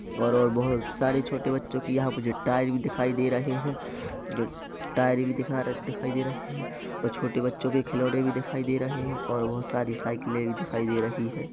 और और बहोत सारे छोटे बच्चो की यहाँ मुझे टायर भी दिखाई दे रहे है टायर भी दिखाई दे रहे है और छोटे बच्चो के खिलैाने भी दिखाई दे रहे है और बहोत सारी साइकिले भी दिखाई दे रही है।